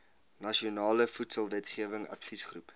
nasionale voedselwetgewing adviesgroep